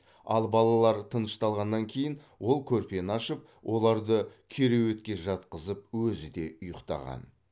ал балалар тынышталғаннан кейін ол көрпені ашып оларды кереуетке жатқызып өзі де ұйықтаған